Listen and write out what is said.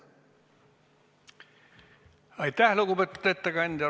Aitäh, lugupeetud ettekandja!